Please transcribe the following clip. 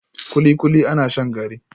kulikuli ana shan gari